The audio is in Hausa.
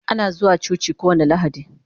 Ana zuwa coci kowani lahadi